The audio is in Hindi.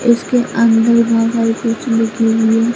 इसके अंदर बहुत कुछ लगी हुई है।